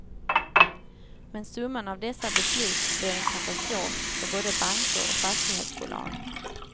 Men summan av dessa beslut blev en katastrof för både banker och fastighetsbolag.